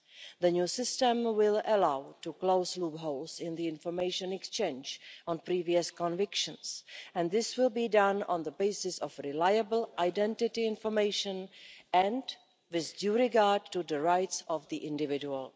The new system will allow the closing of loopholes in information exchange on previous convictions and this will be done on the basis of reliable identity information and with due regard to the rights of the individual.